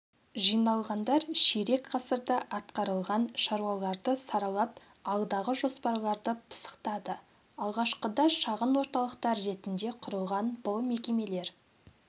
жиналғандар ширек ғасырда атқарылған шаруаларды саралап алдағы жоспарларды пысықтады алғашқыда шағын орталықтар ретінде құрылған бұл мекемелер